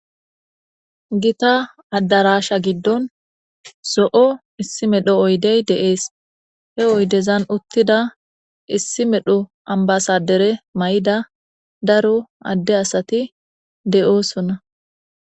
Giththa adarashsha gidon zoo' issi medho oyqide de'ss. He oydezan uttida issi medho ambasadere Mayida daro adde assathi deo'ssonna.